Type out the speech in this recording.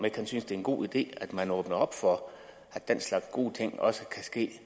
ikke han synes det er en god idé at man åbner op for at den slags gode ting også kan ske